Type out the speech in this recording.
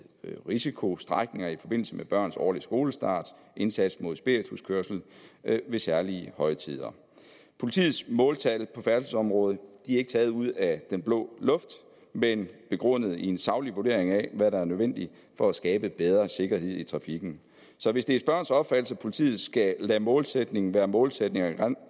risikostrækninger i forbindelse med børnenes årlige skolestart og indsats mod spirituskørsel ved særlige højtider politiets måltal på færdselsområdet er ikke taget ud af den blå luft men begrundet i en saglig vurdering af hvad der er nødvendigt for at skabe bedre sikkerhed i trafikken så hvis det er spørgerens opfattelse at politiet skal lade målsætning være målsætning og